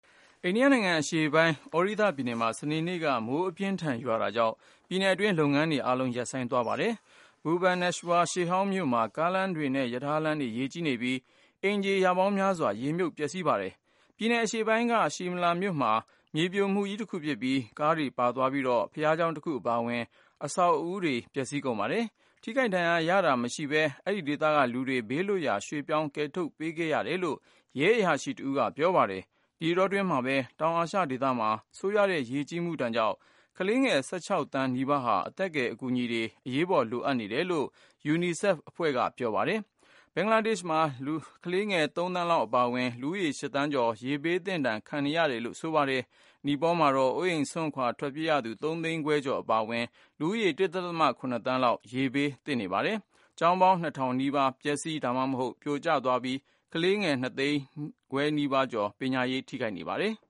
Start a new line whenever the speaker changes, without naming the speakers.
အိန္ဒိယနိုင်ငံအရှေ့ပိုင်း Odisha သြဒိသ ပြည်နယ်မှာ စနေနေ့က မိုးအပြင်းအထန် ရွာတာကြောင့် ပြည်နယ်အတွင်း လုပ်ငန်းတွေ အားလုံး ရပ်ဆိုင်းသွားပါတယ်။ Bhubaneswar ရှေ့ဟောင်းမြို့မှာ ကားလမ်းတွေနဲ့ ရထားလမ်းတွေ ရေကြီးနေပြီး အိမ်ခြေရာပေါင်းများစွာ ရေမြုပ် ပျက်စီးပါ တယ်။ ပြည်နယ်အရှေ့ပိုင်းက Shimla မြို့မှာ မြေပြိုမှုကြီးတခုဖြစ်ပြီး ကားတွေပါသွားပြီးတော့ ဘုရားကျောင်းတခုအပါအဝင် အဆောက်အဦးတွေ ပျက်စီးကုန်ပါတယ်။ ထိခိုက် ဒဏ်ရာရတာမရှိဘဲ အဲဒီဒေသက လူတွေကို ဘေးလွတ်ရာ ရွှေ့ပြောင်း ကယ်ထုတ်ပေးခဲ့တယ်လို့ ရဲအရာရှိတဦးက ပြောပါတယ်။ ဒီအတောအတွင်းမှာပဲ တောင်အာရှဒေသမှာ ဆိုးရွားတဲ့ ရေကြီးမှုဒဏ်ကြောင့် ကလေးငယ် ၁၆ သန်းနီးပါးဟာ အသက်ကယ် အကူအညီတွေ အရေးပေါ်လိုအပ်နေ တယ်လို့ ကုလသမဂ္ဂ ကလေးများရန်ပုံငွေအဖွဲ့ UNICEF က ပြောပါတယ်။ ဘင်္ဂလားဒေ့ရှ်မှာ ကလေးငယ် ၃ သန်းလောက်အပါအဝင် လူဦးရေ ၈ သန်းကျော် ရေဘေးဒဏ်သင့်နေတယ်လို့ UNICEF က ပြောပါတယ်။ နီပေါလ်မှာတော့ အိုးအိမ်စွန့်ထွက်ပြေးရသူ ၃ သိန်းခွဲကျော်အပါအဝင် လူဦးရေ ၁.၇ သန်းလောက် ရေဘေးဒဏ်သင့်နေပါတယ်။ ကျောင်းပေါင်း ၂ ထောင်နီးပါး ပျက်စီး ဒါမှမဟုတ် ပြိုကျသွားပြီး ကလေးငယ် ၂ သိန်းခွဲကျော်ရဲ့ ပညာရေး ထိခိုက်နေရပါ
တယ်။